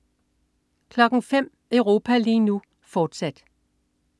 05.00 Europa lige nu, fortsat